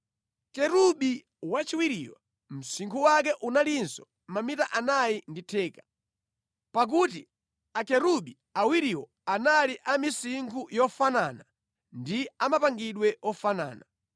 Kerubi wachiwiriyo msinkhu wake unalinso mamita anayi ndi theka, pakuti akerubi awiriwo anali a misinkhu yofanana ndi a mapangidwe ofanana.